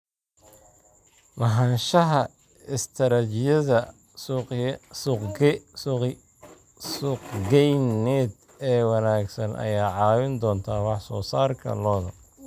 Lahaanshaha istaraatiijiyad suuqgeyneed oo wanaagsan ayaa caawin doonta wax soo saarka lo'da.